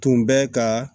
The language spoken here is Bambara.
Tun bɛ ka